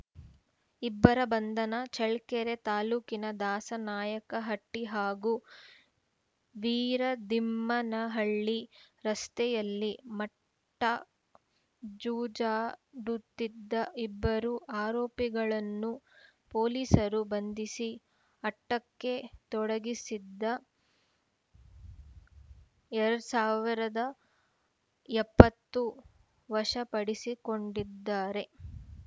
ಇಬ್ಬರ ಬಂಧನ ಚಳ್ಳಕೆರೆ ತಾಲೂಕಿನ ದಾಸನಾಯಕ ಹಟ್ಟಿ ಹಾಗೂ ವೀರದಿಮ್ಮನ ಹಳ್ಳಿ ರಸ್ತೆಯಲ್ಲಿ ಮಟ್ಕಾ ಜೂಜಾಡುತ್ತಿದ್ದ ಇಬ್ಬರು ಆರೋಪಿಗಳನ್ನು ಪೊಲೀಸರು ಬಂಧಿಸಿ ಆಟ್ಟಕ್ಕೆ ತೊಡಗಿಸಿದ್ದ ಎರಡ್ ಸಾವಿರದ ಎಪ್ಪತ್ತು ವಶಪಡಿಸಿಕೊಂಡಿದ್ದಾರೆ